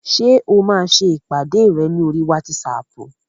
Ṣé o máa ṣe ìpàdé rẹ ní oríi wátísapù?